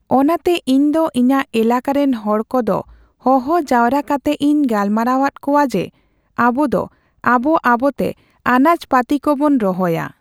ᱚᱱᱟᱛᱮ ᱤᱧᱫᱚ ᱤᱧᱟᱜ ᱮᱞᱟᱠᱟ ᱨᱮᱱ ᱦᱚᱲᱠᱚᱫᱚ ᱦᱚᱦᱚ ᱡᱟᱣᱨᱟ ᱠᱟᱛᱮᱜ ᱤᱧ ᱜᱟᱞᱢᱟᱨᱟᱣᱟᱫ ᱠᱚᱣᱟ ᱡᱮ ᱟᱵᱩᱫᱚ ᱟᱵᱚ ᱟᱵᱚᱛᱮ ᱟᱸᱟᱡ ᱯᱟᱛᱤ ᱠᱚᱵᱚᱱ ᱨᱚᱦᱚᱭᱟ ᱾